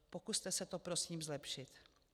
Pokuste se to prosím zlepšit.